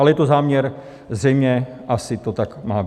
Ale je to záměr, zřejmě asi to tak má být.